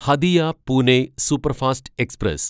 Hatia Pune superfast express